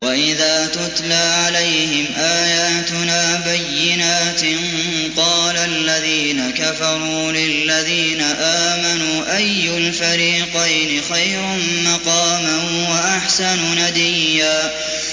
وَإِذَا تُتْلَىٰ عَلَيْهِمْ آيَاتُنَا بَيِّنَاتٍ قَالَ الَّذِينَ كَفَرُوا لِلَّذِينَ آمَنُوا أَيُّ الْفَرِيقَيْنِ خَيْرٌ مَّقَامًا وَأَحْسَنُ نَدِيًّا